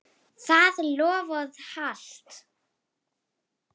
Það loforð halt.